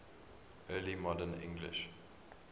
early modern english